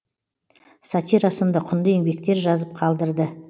сатира сынды құнды еңбектер жазып қалдырды